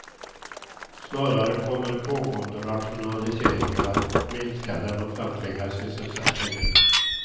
Snarare kommer pågående rationaliseringar att minska den offentliga sysselsättningen.